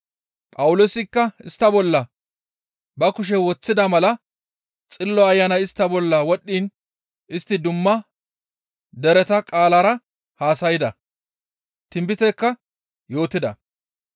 Phawuloosikka istta bolla ba kushe woththida mala Xillo Ayanay istta bolla wodhdhiin istti dumma dereta qaalara haasayda; tinbitekka yootida.